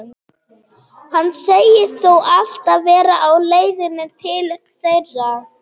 Hann segist þó alltaf vera á leiðinni til þeirra.